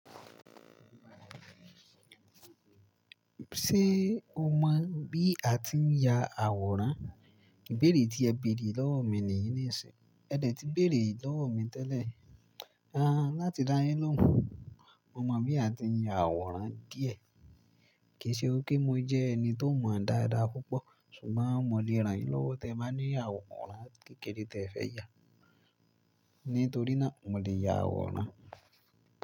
Ṣé o mọ bí a ti ń ya àwòrán? Ìbéèrè tí ẹ béèrè lọ́wọ́ mi nìyí ní ìṣinyi. Ẹ dẹ̀ ti béèrè lọ́wọ́ mi tẹ́lẹ̀. A, láti dá yín lóhùn, mo mọ bí a ti ń ya àwòrán díẹ̀. Kì í ṣe wípé mo jẹ́ ẹni tó mọ dáadáa púpọ̀, ṣùgbọ́n mo le rànyín lọ́wọ́ tẹ́ ba ni àwòrán kékeré tẹ́ fẹ̀ yá. Nítorí náà, mo le ya àwòrán.